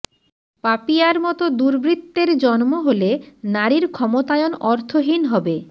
পাপিয়ার মতো দুর্বৃত্তের জন্ম হলে নারীর ক্ষমতায়ন অর্থহীন হবে